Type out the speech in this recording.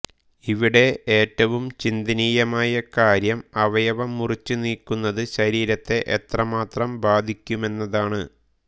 ഇവിടെ ഏറ്റവും ചിന്തനീയമായ കാര്യം അവയവം മുറിച്ചുനീക്കുന്നത് ശരീരത്തെ എത്രമാത്രം ബാധിക്കുമെന്നതാണ്